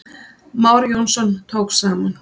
Már Jónsson tók saman.